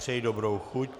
Přeji dobrou chuť.